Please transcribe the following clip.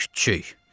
Küçükl!